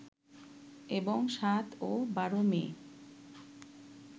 এবং ৭ ও ১২ মে